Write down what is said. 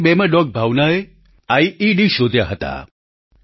2002માં dog ભાવનાએ IED શોધ્યા હતા